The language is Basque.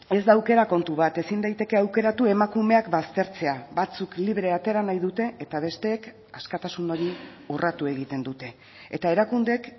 ez da aukera kontu bat ezin daiteke aukeratu emakumeak baztertzea batzuk libre atera nahi dute eta besteek askatasun hori urratu egiten dute eta erakundeek